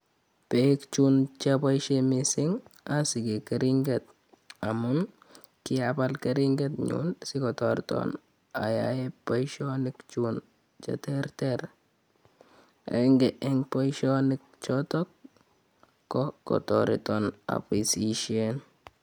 Peek chun che apaishe missing' asike keringet amun ki apal keringenyun si ko tartan ayae poishonikchuk che terter. Eng' poishonichotok ko kotaretan apisishen.